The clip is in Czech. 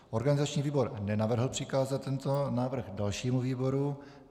Organizační výbor nenavrhl přikázat tento návrh dalšímu výboru.